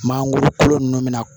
Mangoro kolo ninnu bɛna